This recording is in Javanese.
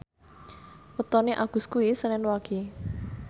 wetone Agus kuwi senen Wage